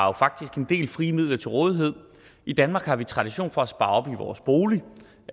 har faktisk en del frie midler til rådighed i danmark har vi tradition for at spare op i vores bolig